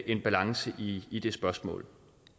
en balance i i det spørgsmål